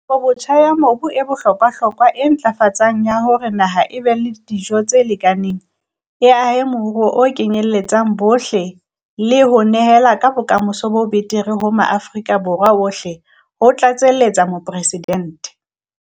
Kabobotjha ya mobu e bohlokwahlokwa ntlafatsong ya hore naha e be le dijo tse lekaneng, e ahe moruo o kenyeletsang bohle le ho nehela ka bokamoso bo betere ho Maafrika Borwa ohle, ho tlatseletsa Mopresidente.